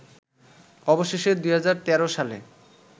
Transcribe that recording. অবশেষে ২০১৩ সালে